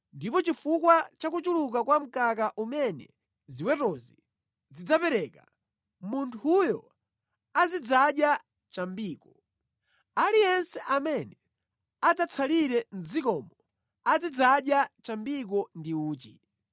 Ndipo chifukwa cha kuchuluka kwa mkaka umene ziwetozi zidzapereka, munthuyo azidzadya chambiko. Aliyense amene adzatsalire mʼdzikomo azidzadya chambiko ndi uchi.